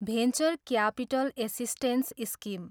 venture capital assistance scheme